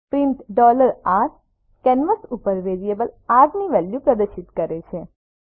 print r canvas ઉપર variable R ની value પ્રદર્શિત કરે છે